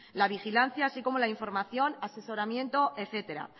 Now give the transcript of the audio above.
la vigilancia así como la información asesoramiento etcétera